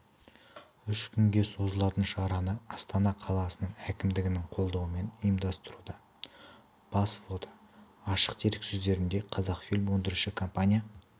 үш күнге созылатын шараны астана қаласының әкімдігінің қолдауымен ұйымдастыруда бас фото ашық дереккөздерден қазақфильм өндіруші компания